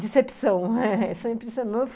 Decepção